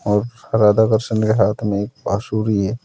और राधा कृष्ण के हाथ में एक बांसुरी है।